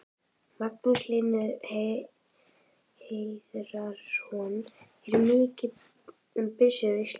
Magnús Hlynur Hreiðarsson: Er mikið um byssur á Íslandi?